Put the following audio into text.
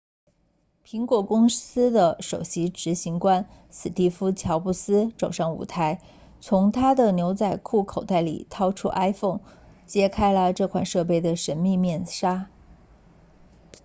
苹果公司的首席执行官史蒂夫乔布斯走上舞台从他的牛仔裤口袋里掏出 iphone 揭开了这款设备的神秘面纱